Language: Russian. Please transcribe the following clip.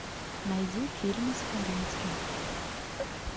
найди фильмы с хабенским